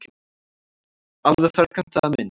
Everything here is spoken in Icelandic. Alveg ferkantaða mynd.